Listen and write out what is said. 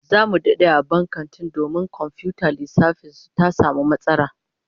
Zamu dade a bban kantin domin komfiyutar lissafin su ta samu matsala